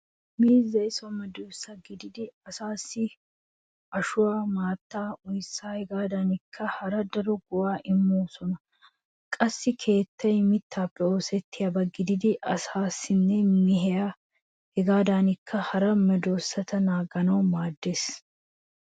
Miizziyaa so medoosa gidada asaassi ashuwaa maattaanne oyssaa hegaadankka hara daro go'aa immawusu. Qassi keettay mittaappe oosettiyaba gididi asaanne mehiya hegaadankka hara medoosata naaganawu maaddeees.